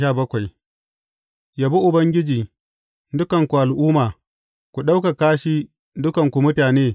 Yabi Ubangiji, dukanku al’umma; ku ɗaukaka shi, dukanku mutane.